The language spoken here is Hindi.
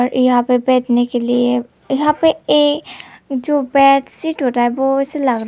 यहां पे जो बैठने के लिए यहां पे ये जो बैग से टूटा है वो ऐसे लग रहा--